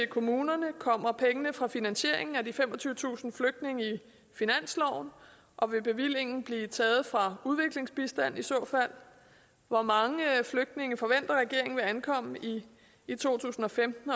kommunerne kommer pengene fra finansieringen af de femogtyvetusind flygtninge i finansloven og vil bevillingen blive taget fra udviklingsbistanden i så fald hvor mange flygtninge forventer regeringen vil ankomme i to tusind og femten